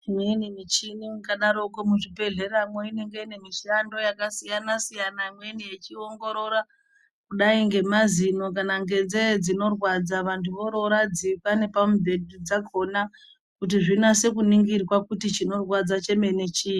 Imweni michini mukadarokwo muzvibhedhlera inenge ine mishando yakasiyana siyana imweni yechiongoorora kudai ngemazino kana ngenzee dzinorwadza vantu vororadzikwa nepamubhedhu dzakhona kuti zvinase kuningirwa kuti chinorwadza chemene chiini.